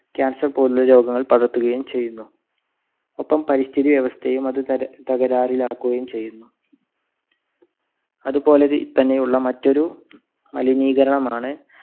cancer പോലുള്ള രോഗങ്ങൾ പടർത്തുകയും ചെയ്യുന്നു. ഒപ്പം പരിസ്ഥിതി വ്യവസ്ഥേയും അത് ത~തകരാറിൽ ആക്കുകയും ചെയ്യുന്നു. അതുപോലെ തന്നെ ഉള്ള മറ്റൊരു മലിനീകരണമാണ്